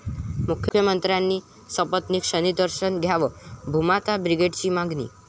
मुख्यमंत्र्यांनी सपत्नीक शनीदर्शन घ्यावं, भूमाता ब्रिगेडची मागणी